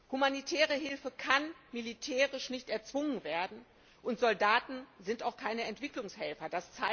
Humanitäre Hilfe kann militärisch nicht erzwungen werden, und Soldaten sind auch keine Entwicklungshelfer.